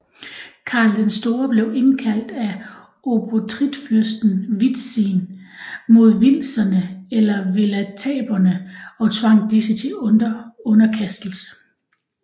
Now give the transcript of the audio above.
Karl den Store blev indkaldt af obotritfyrsten Witzin mod wilzerne eller welataberne og tvang disse til underkastelse